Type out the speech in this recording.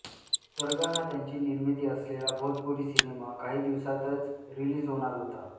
स्वर्ग हा त्यांची निर्मिती असलेला भोजपुरी सिनेमा काही दिवसांतच रिलीज होणार होता